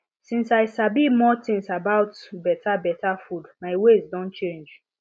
since i sabi more things about better better food my ways don change